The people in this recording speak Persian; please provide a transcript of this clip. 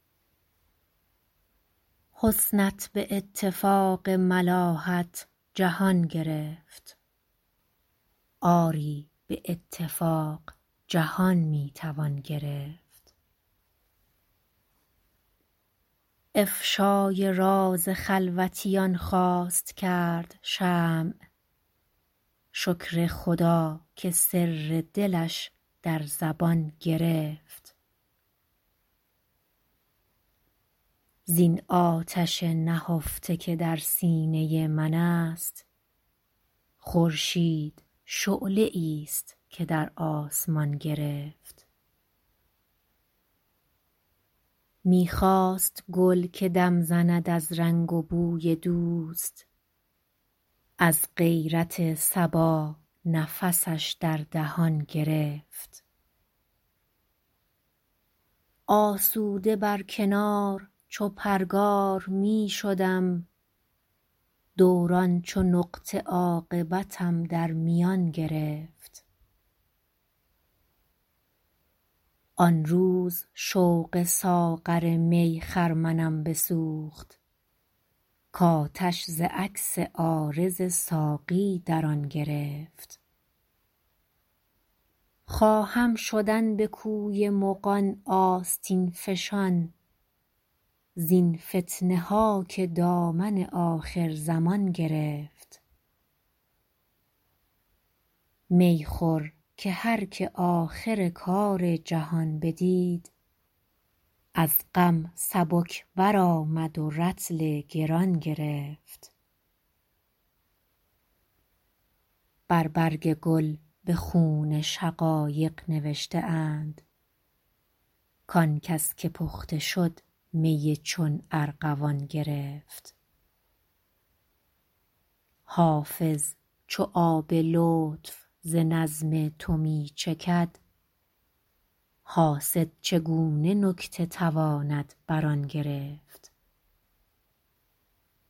حسنت به اتفاق ملاحت جهان گرفت آری به اتفاق جهان می توان گرفت افشای راز خلوتیان خواست کرد شمع شکر خدا که سر دلش در زبان گرفت زین آتش نهفته که در سینه من است خورشید شعله ای ست که در آسمان گرفت می خواست گل که دم زند از رنگ و بوی دوست از غیرت صبا نفسش در دهان گرفت آسوده بر کنار چو پرگار می شدم دوران چو نقطه عاقبتم در میان گرفت آن روز شوق ساغر می خرمنم بسوخت کآتش ز عکس عارض ساقی در آن گرفت خواهم شدن به کوی مغان آستین فشان زین فتنه ها که دامن آخرزمان گرفت می خور که هر که آخر کار جهان بدید از غم سبک برآمد و رطل گران گرفت بر برگ گل به خون شقایق نوشته اند کآن کس که پخته شد می چون ارغوان گرفت حافظ چو آب لطف ز نظم تو می چکد حاسد چگونه نکته تواند بر آن گرفت